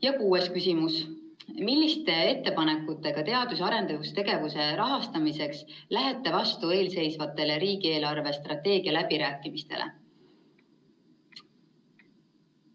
Ja kuues küsimus: "Milliste ettepanekutega teadus‑ ja arendustegevuse rahastamiseks lähete vastu eelseisvatele riigieelarve strateegia läbirääkimistele?